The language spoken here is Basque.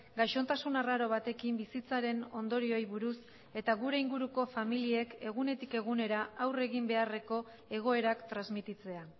gaixotasun arraro batekin bizitzaren ondorioei buruz eta gure inguruko familiek egunetik egunera aurre egin beharreko egoerak transmititzea